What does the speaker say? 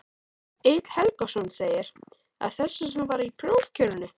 Egill Helgason: Af þessu sem var í prófkjörinu?